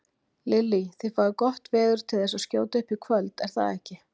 Lillý: Þið fáið gott veður til þess að skjóta upp í kvöld er það ekki?